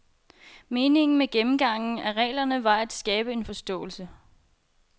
Meningen med gennemgangen af reglerne var at skabe en forståelse.